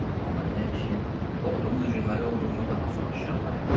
Amma nə işin, oxuduqca gülməli olduğumu daha çox aşkarlayırdım.